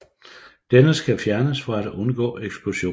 Denne skal fjernes for at undgå eksplosioner